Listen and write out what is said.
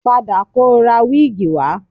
Padà kọ ra wíìgì wá